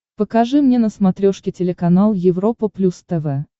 покажи мне на смотрешке телеканал европа плюс тв